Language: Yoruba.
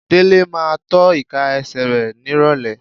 Délé máa tọ́ ìka ẹsẹ̀ rẹ nírọ̀lẹ́.